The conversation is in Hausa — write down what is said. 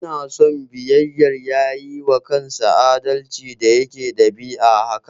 Ina son biyayyar, ya yiwa kansa adalci da yake ɗabi'a haka.